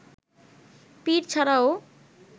পীর ছাড়াও